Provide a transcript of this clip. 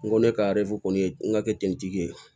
N ko ne ka kɔni ye n ka kɛ ten ye